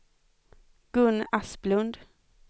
Gun Asplund